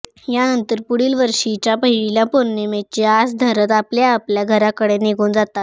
यानंतर पुढील वर्षीच्या पहिल्या पौर्णिमेची आस धरत आपल्या आपल्या घराकडे निघून जातात